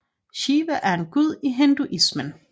Shiva er en gud i hinduismen